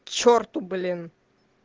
черту блин